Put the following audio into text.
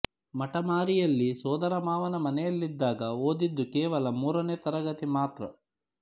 ಮಟಮಾರಿಯಲ್ಲಿ ಸೋದರ ಮಾವನ ಮನೆಯಲ್ಲಿದ್ದಾಗ ಓದಿದ್ದು ಕೇವಲ ಮೂರನೇ ತರಗತಿ ಮಾತ್ರ